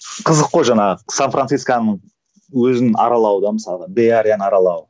қызық қой жаңағы сан францисконы өзін аралау да мысалы беарияны аралау